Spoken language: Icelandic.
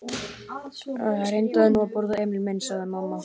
Reyndu nú að borða, Emil minn, sagði mamma.